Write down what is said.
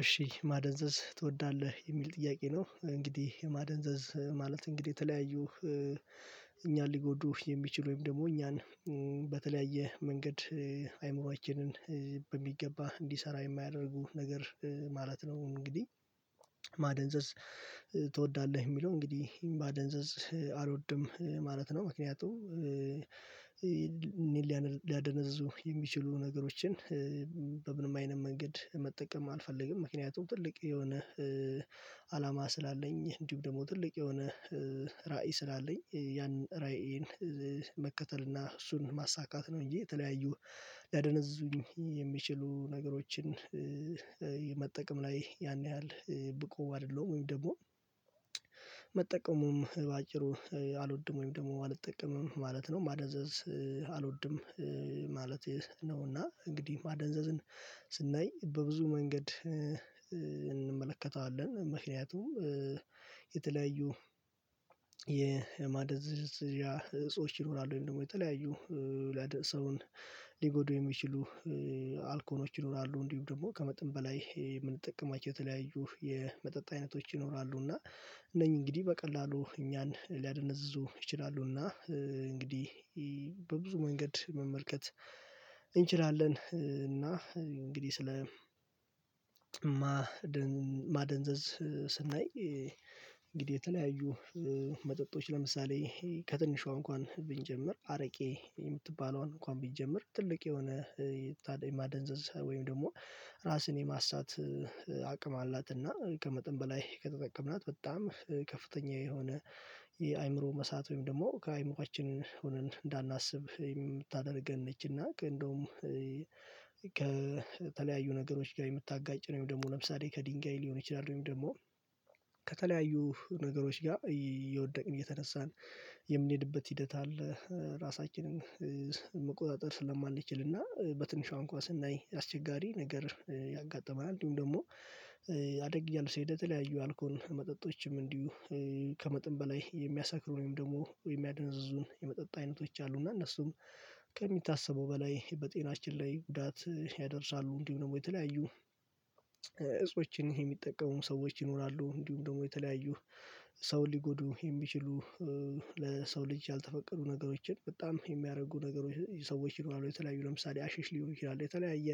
እሺ ማደንዘዝ ትወዳለህ የሚል ጥያቄ ነው? እንግዲህ ማደንዘዝ ማለት እንግዲህ የተለያዩ እኛን ሊጎዱህ የሚችሉም ደግሞ እኛን በተለያየ መንገድ አይምሮችንን በሚገባ እንዲሰራ የማያደርጉ ነገር ማለት ነው። እንግዲህ ማደንዘዝ ትወዳለህ ሚለው እንግዲህ ይሄን ማደንዘዝ አልወድም ማለት ነው። ምክንያቱም እኔ ሊያደነዝዙ የሚችሉ ነገሮችን በምንም አይነት መንገድ መጠቀም አልፈልግም። ምክንያቱም ትልቅ የሆነ አላማ ስላለኝ እንዲሁ ደግሞ ትልቅ የሆነ ራዕይ ስላለኝ ያንን ራእይን መከተል እና እሱን ማሳካት ነው። እንጂ የተለያዩ ሊያደነዙኝ የሚችሉ ነገሮችን መጠቀም ላይ ያን ያህል ብቁ አይደለሁም። ወይም ደግሞ መጠቀሙም በአጭሩ አልወድም ወይም ደግሞ አልጠቀምም ማለት ነው። ማዳዘዝ አልወድም ማለት ነው። እና እንግዲህ ማደንዘዝን ስናይ በብዙ መንገድ እንመለከተዋለን። ምክንያቱም የተለያዩ የማደዘዝዣ እጾች ይኖራሉ ወይም ደግሞ የተለያዩ ሰውን ሊጎዱ የሚችሉ አልኮኖች ይኖራሉ እንዲሁም ደግሞ ከመጠን በላይ የምንጠቀማቸው የተለያዩ የመጠጥ አይነቶች ይኖራሉ እና እነኚህ እንግዲህ በቀላሉ እኛን ሊያደነዝዙ ይችላሉ። እና እንግዲህ በብዙ መንገድ መመልከት እንችላለን። እና እንግዲህ ስለ ማደንዘዝ ስናይ እንግዲህ የተለያዩ መጠጦች ለምሳሌ ከትንሿ እንኳን ብንጀምር አረቄ የምትባለውን እንኳን ብንጀምር ትልቅ የሆነ የታደነ ማደንዘዝ ወይም ደግሞ ራስን የማሳት አቅም አላት። እና ከመጠን በላይ ከተጠቀምናት በጣም ከፍተኛ የሆነ የአእምሮ መሳት ወይም ደግሞ ከአእምሮአችን ሆነን እንዳናስብ የምታደርገን ነች። እና ከእንደውም ከተለያዩ ነገሮች ጋር የምታጋጭ ወይም ደግሞ ለምሳሌ ከድንጋይ ሊሆን ይችላል ወይም ደግሞ ከተለያዩ ነገሮች ጋር የወደቅን እየተነሳን የምንሄድበት ሂደት አለ። ራሳችንን መቆጣጠር ስለማልችል እና በትንሿ እንኳን ስናይ አስቸጋሪ ነገር ያጋጥማል። እንዲሁም ደግሞ አደግ እያለ ሲሄድ የተለያዩ አልኮል መጠጦችም እንዲሁ ከመጠን በላይ የሚያሳክሩ ወይም ደግሞ የሚያደነዝዙ የመጠጥ አይነቶች አሉ። እና እነሱም ከሚታሰበው በላይ በጤናችን ላይ ጉዳት ያደርሳሉ። እንዲሁ ደግሞ የተለያዩ እጾችን የሚጠቀሙ ሰዎች ይኖራሉ እንዲሁም ደግሞ የተለያዩ ሰው ሊጎዱ የሚችሉ ለሰው ልጅ ያልተፈቀዱ ነገሮችን በጣም የሚያረጉ ነገሮች ሰዎች ይኖራሉ። የተለያዩ ለምሳሌ አሸሽ ሊሆኑ ይችላሉ የተለያየ